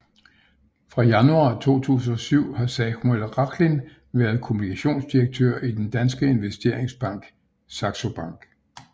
Fra januar 2007 har Samuel Rachlin været kommunikationsdirektør i den danske investeringsbank Saxo Bank